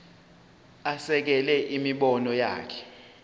asekele imibono yakhe